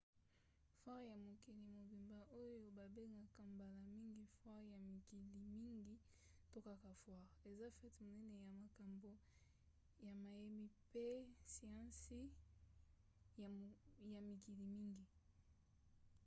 foire ya mokili mobimba oyo babengaka mbala mingi foire ya mikili mingi to kaka foire eza fete monene ya makambo ya mayemi mpe ya siansi ya mikili mingi